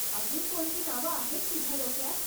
अजून कोणती नावं आहेत तुझ्या डोक्यात?